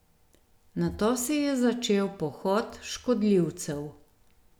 Nato se je začel pohod škodljivcev.